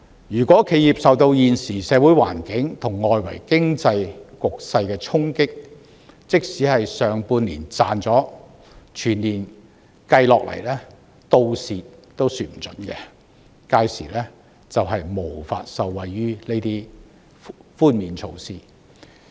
如果企業受到現時社會環境和外圍經濟局勢的衝擊，即使上半年有賺了，全年累計下，倒過來虧蝕也說不定，屆時將無法受惠於這些寬免措施。